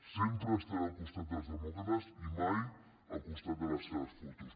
sempre estaré al costat dels demòcrates i mai al costat de les seves fotos